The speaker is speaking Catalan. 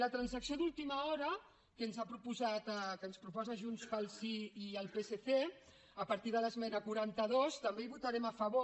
la transacció d’última hora que ens han proposat que ens proposen junts pel sí i el psc a partir de l’esmena quaranta dos també la votarem a favor